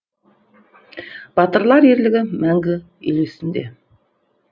батырлар ерлігі мәңгі ел есінде